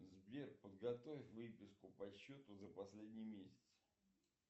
сбер подготовь выписку по счету за последний месяц